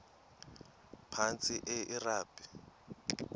phantsi enge lrabi